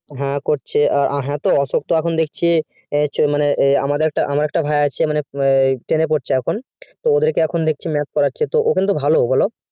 হ্যাঁ করছে আ হ্যাঁ তো অশোক তো এখন দেখছি এই মা মানে ওই মানে আমার একটা ভাই আছে মানে ten এ পড়ছে এখন তো ওদের কে এখন দেখছি math পড়াচ্ছে তো ও কিন্তু ভালো বলো